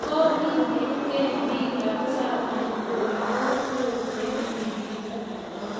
Kikonekei biik ab chamait korib kokwet eng ribindo